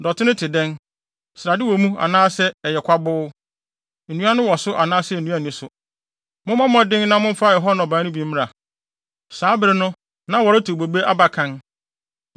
Dɔte no te dɛn? Srade wɔ mu anaasɛ ɛyɛ kwaboo? Nnua wɔ so anaasɛ nnua nni so? Mommɔ mmɔden na momfa ɛhɔ nnɔbae no bi mmra.” Saa bere no na wɔretew bobe aba kan.